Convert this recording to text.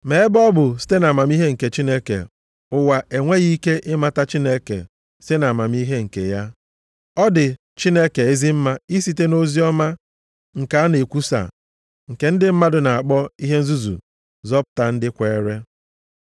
Ma ebe ọ bụ site nʼamamihe nke Chineke, ụwa enweghị ike ịmata Chineke site na amamihe nke ya, ọ dị Chineke ezi mma isite nʼoziọma nke a na-ekwusa nke ndị mmadụ na-akpọ ihe nzuzu zọpụta ndị kweere.